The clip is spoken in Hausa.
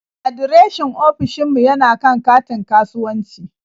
Adireshin ofishin mu yana kan katin kasuwanci.